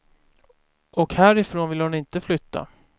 Och härifrån vill hon inte flytta.